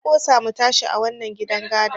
Na ƙosa mu tashi a wannan gidan gadon.